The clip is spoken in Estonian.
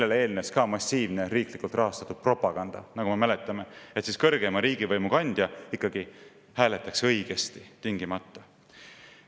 Sellele eelnes massiivne riiklikult rahastatud propaganda, nagu me mäletame, et kõrgeima riigivõimu kandja ikkagi hääletaks tingimata õigesti.